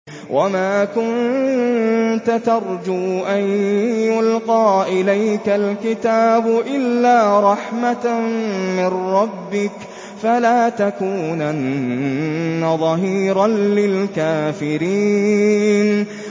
وَمَا كُنتَ تَرْجُو أَن يُلْقَىٰ إِلَيْكَ الْكِتَابُ إِلَّا رَحْمَةً مِّن رَّبِّكَ ۖ فَلَا تَكُونَنَّ ظَهِيرًا لِّلْكَافِرِينَ